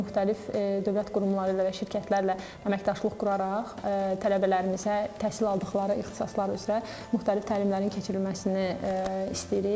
Müxtəlif dövlət qurumları ilə və şirkətlərlə əməkdaşlıq quraraq tələbələrimizə təhsil aldıqları ixtisaslar üzrə müxtəlif təlimlərin keçirilməsini istəyirik.